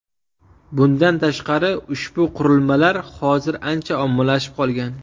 Bundan tashqari, ushbu qurilmalar hozir ancha ommalashib qolgan.